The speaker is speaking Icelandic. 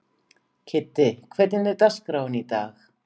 Kiddi, hvernig er dagskráin í dag?